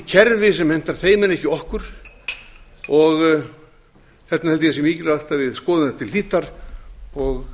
kerfi sem hentar þeim en ekki okkur þess vegna held ég að það sé mikilvægt að við skoðum þetta til hlítar og